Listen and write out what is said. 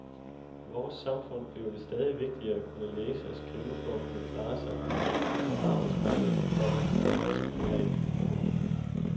I vores samfund bliver det stadig vigtigere at kunne læse og skrive for at kunne klare sig ikke kun på arbejdsmarkedet, komma men også privat. punktum